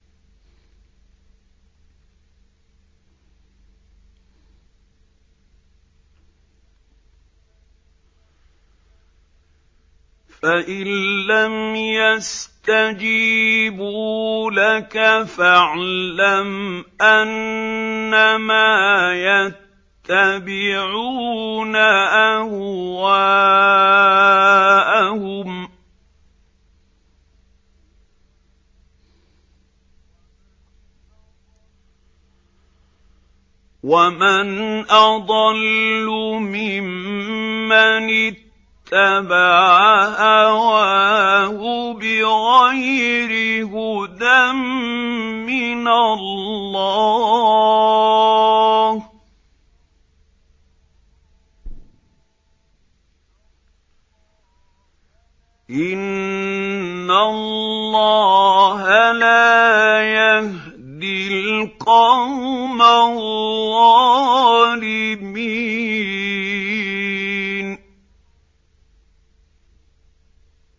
فَإِن لَّمْ يَسْتَجِيبُوا لَكَ فَاعْلَمْ أَنَّمَا يَتَّبِعُونَ أَهْوَاءَهُمْ ۚ وَمَنْ أَضَلُّ مِمَّنِ اتَّبَعَ هَوَاهُ بِغَيْرِ هُدًى مِّنَ اللَّهِ ۚ إِنَّ اللَّهَ لَا يَهْدِي الْقَوْمَ الظَّالِمِينَ